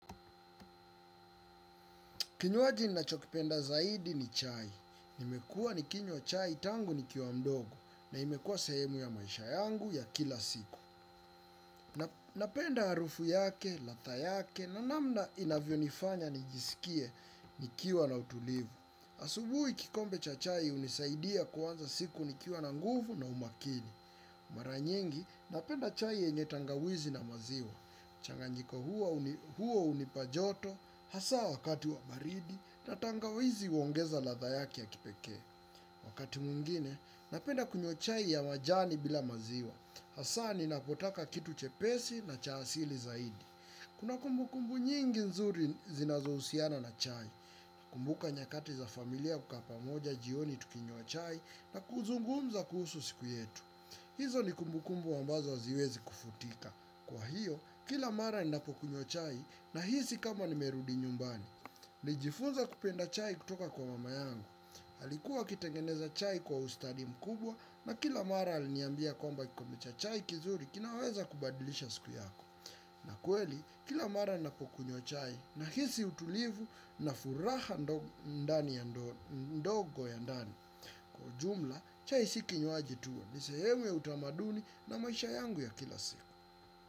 Kinywaji ninachokipenda zaidi ni chai. Nimekua nikinywa chai tangu nikiwa mdogo na imekua sahemu ya maisha yangu ya kila siku. Napenda harufu yake, ladha yake na namna inavyonifanya nijisikie nikiwa na utulivu. Asubuhi kikombe cha chai hunisaidia kuanza siku nikiwa na nguvu na umakini. Mara nyingi napenda chai yenye tangawizi na maziwa. Mchanganyiko huo hunipa joto hasa wakati wa baridi na tangawizi huongeza ladha yake ya kipekee. Wakati mwingine, napenda kunywa chai ya majani bila maziwa. Hasa ninapotaka kitu chepesi na cha asili zaidi. Kuna kumbukumbu nyingi nzuri zinazohusiana na chai. Kumbuka nyakati za familia kukaa pamoja jioni tukinywa chai na kuzungumza kuhusu siku yetu. Hizo ni kumbukumbu ambazo haziwezi kufutika. Kwa hiyo, kila mara ninapokunywa chai nahisi kama nimerudi nyumbani. Nijifunza kupenda chai kutoka kwa mama yangu. Alikuwa akitengeneza chai kwa ustadi mkubwa na kila mara aliniambia kwamba kikombe cha chai kizuri kinaweza kubadilisha siku yako. Na kweli, kila mara ninapokunywa chai nahisi utulivu na furaha ndogo ya ndani. Kwa jumla, chai si kinywaji tu. Ni sehemu ya utamaduni na maisha yangu ya kila siku.